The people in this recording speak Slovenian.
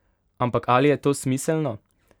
Ampak ali je to smiselno?